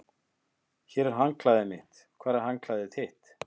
Hér er handklæðið mitt. Hvar er handklæðið þitt?